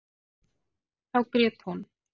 Þá grét hún.